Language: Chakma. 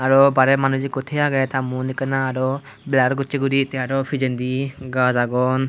arow barey manuj ikko the agey ta maon ekkena arow blar gossey guri te arow pijendi gaj agon.